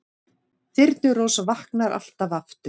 Þyrnirós vaknar alltaf aftur